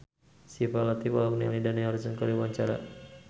Syifa Latief olohok ningali Dani Harrison keur diwawancara